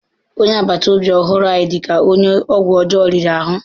Onye agbata obi ọhụrụ ahụ dị ka onye ọgwụ ọjọọ riri ahụ.